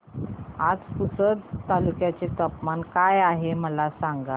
आज पुसद तालुक्यात तापमान काय आहे मला सांगा